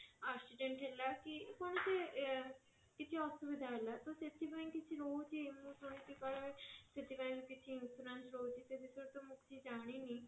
accident ହେଲା କି କୌଣସି କିଛି ଅସୁବିଧା ହେଲା ତ ସେଥିପାଇଁ କିଛି ରହୁଛି ମୁଁ ଶୁଣିଛି କାଳେ ସେଥିପାଇଁ କିଛି insurance ରହୁଛି ସେ ବିଷୟରେ ତ ମୁଁ କିଛି ତ ଜାଣିନି